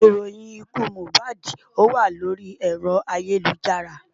Ìròyìn ikú Mohbad wà lórí ẹ̀rọ ayélujára.